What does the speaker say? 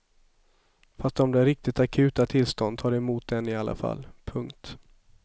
Fast om det är riktigt akuta tillstånd tar de emot en i alla fall. punkt